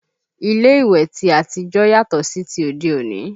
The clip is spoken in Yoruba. Ilé ìwẹ̀ ti àtijọ́ yàtọ̀ sí ti òde òní